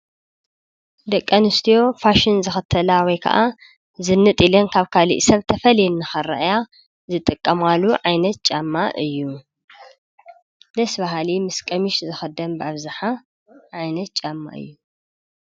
ደቂ ኣንስትዮ ፋሽን ዝክተላ ወይ ከዓ ዝንጥ ኢለን ካብ ካሊእ ሰብ ተፈልየን ንክረአያ ዝጥቀማሉ ዓይነት ጫማ እዩ። ደስ በሃሊ ምስ ቀሚሽ ዝክደን በኣብዛሓ ዓይነት ጫማ እዩ።